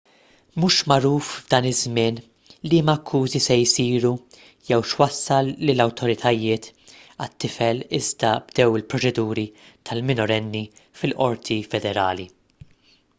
mhux magħruf f'dan iż-żmien liema akkużi se jsiru jew x'wassal lill-awtoritajiet għat-tifel iżda bdew il-proċeduri tal-minorenni fil-qorti federali